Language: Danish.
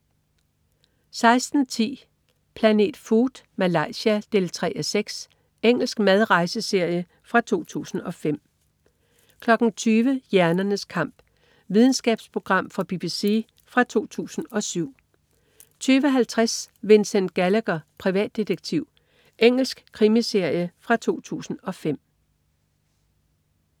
16.10 Planet Food: Malaysia. 3:6 Engelsk mad/rejseserie fra 2005 20.00 Hjernernes kamp. Videnskabsprogram fra BBC fra 2007 20.50 Vincent Gallagher, privatdetektiv. Engelsk krimiserie fra 2005